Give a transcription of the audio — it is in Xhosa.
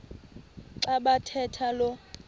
xa bathetha lo